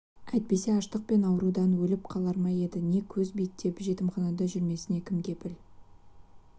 әйтпесе аштық пен ауырудан өліп қалар ма еді не көз биттеп жетімханада жүрмесіне кім кепіл